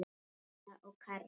Emilía og Karl.